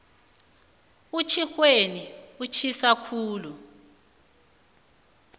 utjhixweni utjhisa khulu